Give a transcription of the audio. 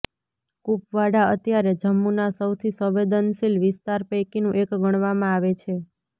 કુપવાડા અત્યારે જમ્મુના સૌથી સંવેદનશીલ વિસ્તાર પૈકીનું એક ગણવામાં આવે છે